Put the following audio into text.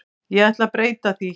Ég ætla breyta því.